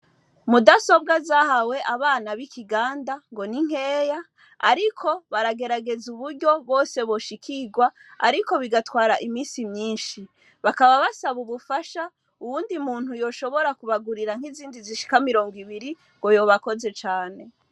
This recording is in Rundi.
Mudasobwa zahawe abana b'i Kiganda ngo ni nkeya ariko baragerageza uburyo bwose boshikirwa ariko bigatwara iminsi myinshi. Bakaba basaba ubufasha uwundi muntu yoshobora kubagurira nk'izindi zishika mirongo ibiri ngo yoba akoze cane.